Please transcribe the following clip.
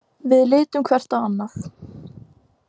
Við litum hvert á annað.